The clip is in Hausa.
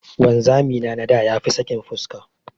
Wanzami na na da ya fi sakin fuska.